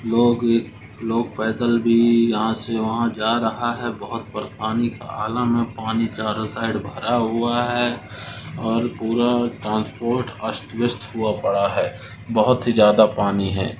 लोग लोग पैदल भी यहाँ से वहाँ जा रहा हैं बहूत परेशानी का आलम है पानी चारों साइड भरा हुआ हैं और पूरा ट्रांसपोर्ट अस्तव्यस्त हुआ पड़ा हैं बहूत ही ज्यादा पानी है।